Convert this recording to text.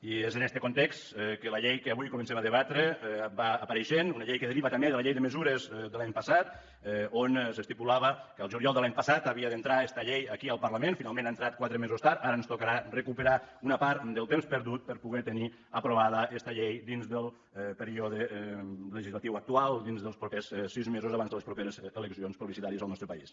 i és en este context que la llei que avui comencem a debatre va apareixent una llei que deriva també de la llei de mesures de l’any passat on s’estipulava que el juliol de l’any passat havia d’entrar esta llei aquí al parlament finalment ha entrat quatre mesos tard ara ens tocarà recuperar una part del temps perdut per poder tenir aprovada esta llei dins del període legislatiu actual dins dels propers sis mesos abans de les properes eleccions plebiscitàries en el nostre país